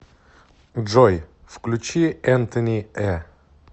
джой включи энтони э